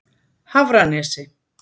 Hafranesi